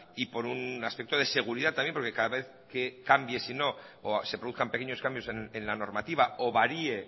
y por un aspecto de seguridad también porque cada vez que cambie si no o se produzcan pequeños cambios en la normativa o varíe